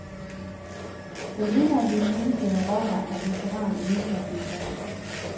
Den ene af de fængslede rockere er veteran inden for inkasso.